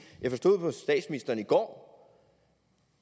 jeg forstod på statsministeren i går